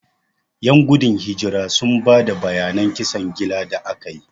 Ƴan gudun hijirar sun ba da bayanan kisan gillar da aka yi.